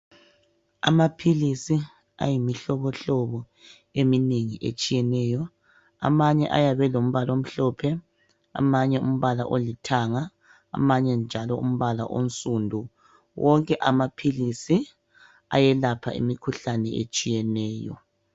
Amaphilisi ayimihlobohlobo eminengi etshiyeneyo. Amanye ayabe elombala omhlophe amanye alombala olithanga amanye njalo umbala oyinsundu. Wonke amaphilisi ayelapha imikhuhlane etshiyeneyo.